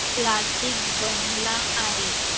Classical बनला आहे